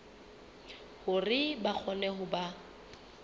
hore ba kgone ho ba